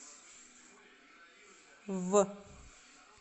в